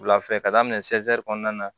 Wulafɛ ka daminɛ kɔnɔna na